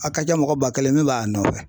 A ka ca mɔgɔ ba kelen min b'a nɔfɛ